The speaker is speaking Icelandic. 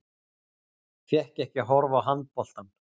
Fékk ekki að horfa á handboltann